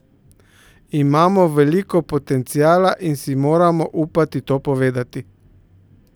Imamo veliko potenciala in si moramo upati to povedati!